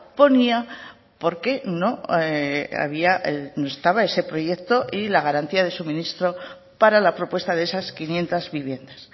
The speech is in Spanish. ponía porque no había no estaba ese proyecto y la garantía de suministro para la propuesta de esas quinientos viviendas